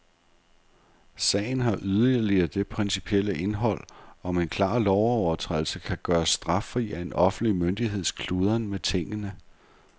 Sagen har yderligere det principielle indhold, om en klar lovovertrædelse kan gøres straffri af en offentlig myndigheds kludren med tingene.